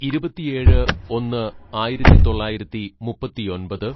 "ഇരുപത്തിയേഴ് ഒന്ന് ആയിരത്തിതൊള്ളായിരത്തി മുപ്പത്തിയൊമ്പത്‌